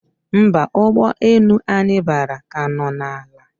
Mba, ụgbọ enu anyi bara ka no na ala